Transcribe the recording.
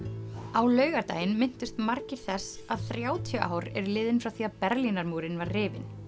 á laugardaginn minntust margir þess að þrjátíu ár eru liðin frá því að Berlínarmúrinn var rifinn